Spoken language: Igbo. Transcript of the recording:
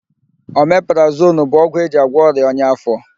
Omeprazonu bụ ogwụ eji agwọ ọrịa ọnya áfó.